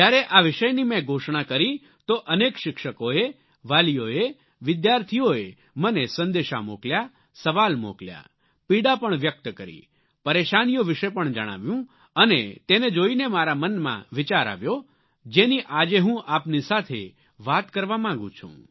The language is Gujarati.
જ્યારે આ વિષયની મેં ઘોષણા કરી તો અનેક શિક્ષકોએ વાલીઓએ વિદ્યાર્થીઓએ મને સંદેશા મોકલ્યા સવાલ મોકલ્યા પીડા પણ વ્યક્ત કરી પરેશાનીઓ વિશે પણ જણાવ્યું અને તેને જોઈને મારા મનમાં વિચાર આવ્યો જેની આજે હું આપની સાથે વાત કરવા માગું છું